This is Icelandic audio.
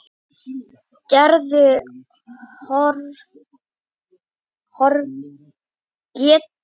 Gerður horfði ánægð á verkið.